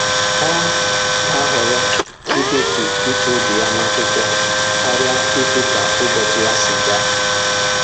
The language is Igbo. Ọ na-ahọrọ idetu uche obi ya n'akwụkwọ karịa ikwu ka ụbọchị ya si gaa